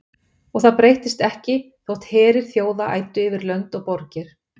Og það breyttist ekki þótt herir þjóða æddu yfir lönd og borgir.